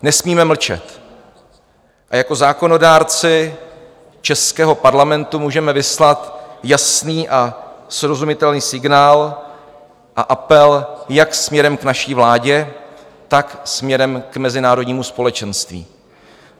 Nesmíme mlčet a jako zákonodárci českého Parlamentu můžeme vyslat jasný a srozumitelný signál a apel jak směrem k naší vládě, tak směrem k mezinárodnímu společenství.